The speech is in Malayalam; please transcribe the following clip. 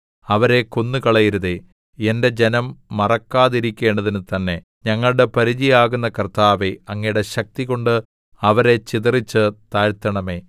അവരെ കൊന്നുകളയരുതേ എന്റെ ജനം മറക്കാതിരിക്കേണ്ടതിന് തന്നെ ഞങ്ങളുടെ പരിചയാകുന്ന കർത്താവേ അങ്ങയുടെ ശക്തികൊണ്ട് അവരെ ചിതറിച്ച് താഴ്ത്തണമേ